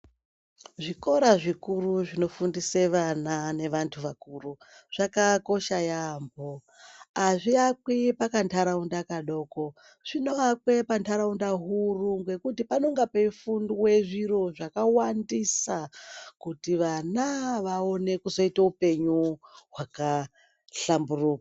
Zvikora zvikuru zvinofundise vana nevantu vakuru zvakakosha yambo azviakwi pakandaraunda kadoko zvinoakwe pandaraunda huru ngekuti panonga peifundwe zviro zvakawandisa kuti vana vaone kuzoite upenyu hwakahlamburuka.